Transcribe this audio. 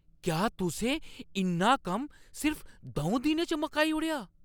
क्या तुसें इन्ना कम्म सिर्फ द'ऊं दिनें च मकाई ओड़ेआ ?